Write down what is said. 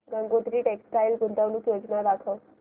Gangotri textile गुंतवणूक योजना दाखव